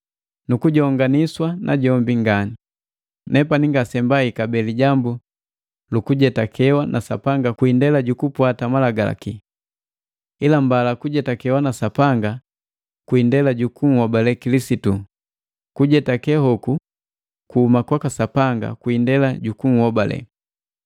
nukujonganiswa najombi ngani. Nepani ngasembai kabee lijambu lukujetakewa na Sapanga kwii ndela jukupwata Malagalaki. Ila mbala kujetakewa na Sapanga kwii indela jukunhobale Kilisitu, kujetake hoku kuhuma kwaka Sapanga kwii indela jukuhobale.